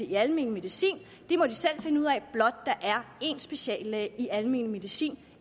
i almen medicin det må de selv finde ud af blot der er én speciallæge i almen medicin